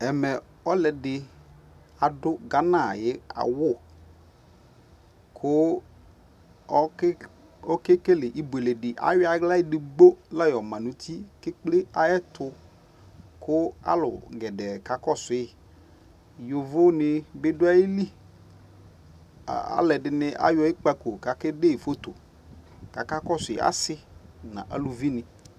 Ɛmɛ ɔluɛdi adu kama yi uku Ku ɔkɛ kɛ kele ibuele di ikla ɛdigbo la yɔ ma ni du ka alu gɛdɛɛ ka kɔ suiYovo ni bi adu ayi li ku aluɛdi ayɔ ikpako ka kɛ dɛ fotoKaka kɔsu asi nu aluvi ni